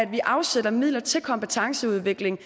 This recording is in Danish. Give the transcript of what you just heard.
vi afsætter midler til kompetenceudvikling